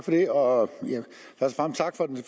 herre